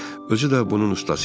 Özü də bunun ustası idi.